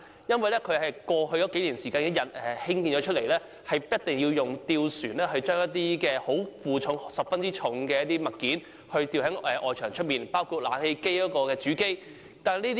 因為它們是在過去數年間才落成，以致設計所限，一定要使用吊船來負載一些很重的物件，吊掛在外牆外，包括了冷氣機的主機。